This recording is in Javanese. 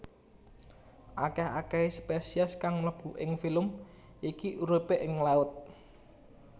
Akeh akehe spesies kang mlebu ing filum iki uripe ing laut